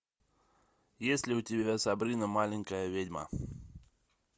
есть ли у тебя сабрина маленькая ведьма